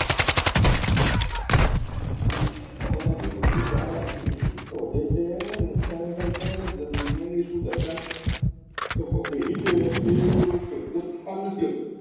ખબર નથી પડતી કે આ બધા cases વધે છે નુકસાન થાય છે અને દુનિયાની શું દશા adject ખ્યાલ નથી આવતો